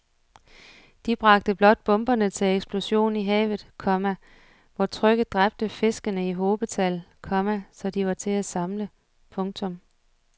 De bragte blot bomberne til eksplosion i havet, komma hvor trykket dræbte fiskene i hobetal, komma så de var til at samle